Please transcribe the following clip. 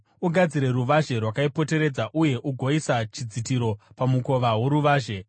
Ugadzire ruvazhe rwakaipoteredza uye ugoisa chidzitiro pamukova woruvazhe.